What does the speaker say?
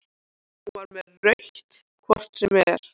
Hún var með rautt hvort sem er.